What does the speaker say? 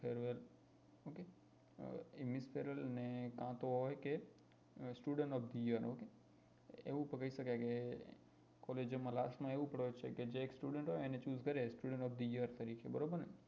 Farewell અ એવું શકાય કે collage માં last માં એવું કરાય છે કે જે એક student હોય એને choose કરે student of the year તરીકે બરોબર ને